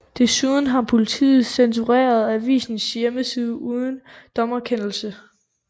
Desuden har politiet censureret avisens hjemmeside uden en dommerkendelse